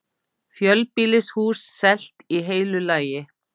Fjölbýlishús selt í heilu lagi